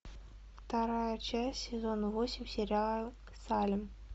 вторая часть сезона восемь сериал салем